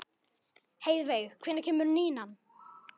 Heiðveig, hvenær kemur nían?